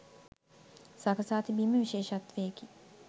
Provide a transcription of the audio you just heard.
සකසා තිබීම විශේෂත්වයකි.